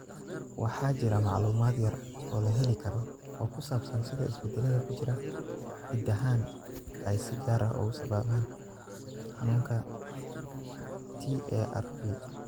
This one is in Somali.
Waxaa jira macluumaad yar oo la heli karo oo ku saabsan sida isbeddellada ku jira hiddahan ay si gaar ah u sababaan xanuunka TARP.